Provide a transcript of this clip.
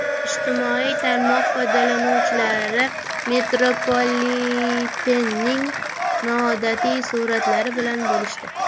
Ijtimoiy tarmoq foydalanuvchilari metropolitenning noodatiy suratlari bilan bo‘lishdi.